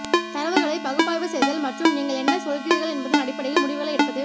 தரவுகளை பகுப்பாய்வு செய்தல் மற்றும் நீங்கள் என்ன சொல்கிறீர்கள் என்பதன் அடிப்படையில் முடிவுகளை எடுப்பது